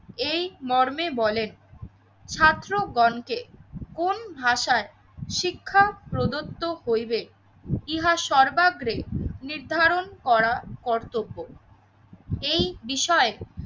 এই মর্মে বলেন ছাত্রগণকে কোন ভাষায় শিক্ষা প্রদত্ত করিবে ইহা সর্বাগ্রে নির্ধারণ করা কর্তব্য। এই বিষয়ে